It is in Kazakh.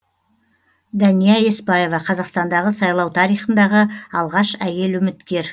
дәния еспаева қазақстандағы сайлау тарихындағы алғаш әйел үміткер